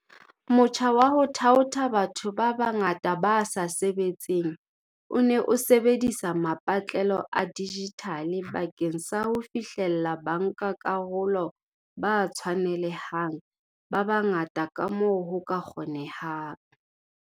Motjha wa ho thaotha batho ba bangata ba sa sebetseng o ne o sebedisa mapatlelo a dijithale bakeng sa ho fihlella bankakarolo ba tshwanele hang ba bangata kamoo ho ka kgonehang.